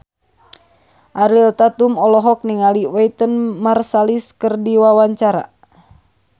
Ariel Tatum olohok ningali Wynton Marsalis keur diwawancara